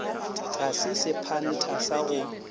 ga se sephantha sa go